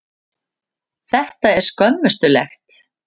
Þetta er skömmustulegt.